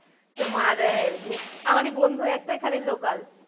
তোমার আহ আমারই বন্ধু একটা এখানে local